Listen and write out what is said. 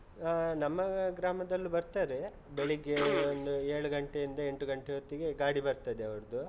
ಆ ನಮ್ಮ ಗ್ರಾಮದಲ್ಲೂ ಬರ್ತಾರೆ, ಬೆಳಿಗ್ಗೆ ಒಂದು ಏಳ್ ಗಂಟೆ ಇಂದ ಎಂಟು ಗಂಟೆ ಹೊತ್ತಿಗೆ ಗಾಡಿ ಬರ್ತದೆ ಅವರ್ದು.